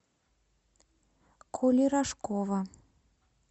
коли рожкова